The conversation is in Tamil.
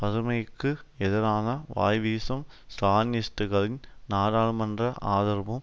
வறுமைக்கு எதிரான வாய்வீசும் ஸ்ராலினிஸ்டுகளின் நாடாளுமன்ற ஆதரவும்